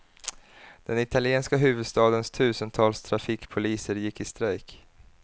Den italienska huvudstadens tusentals trafikpoliser gick i strejk.